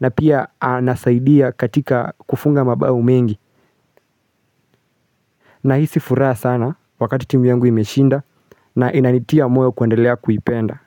na pia anasaidia katika kufunga mabau mengi nahisi furaha sana wakati timu yangu imeshinda na inanitia moyo kuendelea kuipenda.